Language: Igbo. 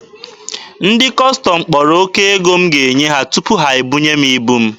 Ndị Kọstọm kpọrọ oke ego m ga-enye ha tupu ha ebunye m ibu m.